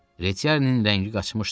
Retiarinin rəngi qaçmışdı.